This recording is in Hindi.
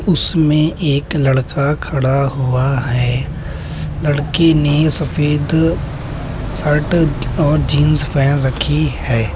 उसमे एक लड़का खड़ा हुआ है। लड़के ने सफेद शर्ट और जीन्स पहेन रखी है।